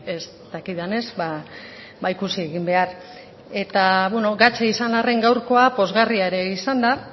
ez dakidanez ikusi egin behar eta beno gatza izan arren gaurkoa pozgarria ere izan da